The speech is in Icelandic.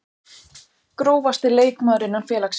Grófasti leikmaður innan félagsins?